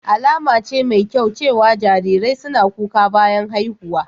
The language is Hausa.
Alama ce mai kyau cewa jarirai suna kuka bayan haihuwa.